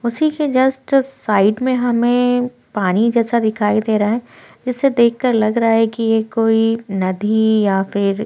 उसी से just side में हमें पानी जैसा दिखाई दे रहा है जिसे देख के लग रहा है कि ये कोई नदी या फिर--